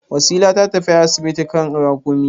Wasila ta tafi asibiti a kan rakumi.